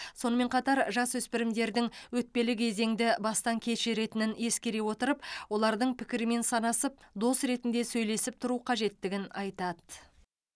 сонымен қатар жасөспірімдердің өтпелі кезеңді бастан кешіретінін ескере отырып олардың пікірімен санасып дос ретінде сөйлесіп тұру қажеттігін айтады